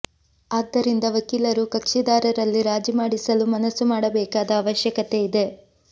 ಆದ್ದರಿಂದ ವಕೀಲರು ಕಕ್ಷಿದಾರರಲ್ಲಿ ರಾಜಿ ಮಾಡಿಸಲು ಮನಸ್ಸು ಮಾಡಬೇಕಾದ ಅವಶ್ಯಕತೆ ಇದೆ